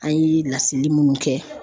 An ye lasigi minnu kɛ.